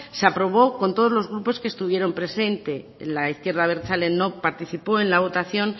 se aprobó con todos los grupos que estuvieron presente la izquierda abertzale no participo en la votación